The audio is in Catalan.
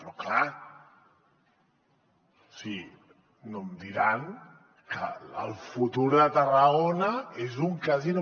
però clar o sigui no em diran que el futur de tarragona és un casino